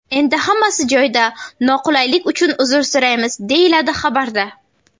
Endi hammasi joyida, noqulaylik uchun uzr so‘raymiz”, deyiladi xabarda.